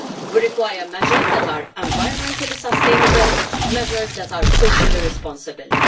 We require measures that are environmentally sustainable, measures that are socially responsible.